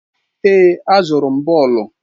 Èè, azụrụ m bọọlụ.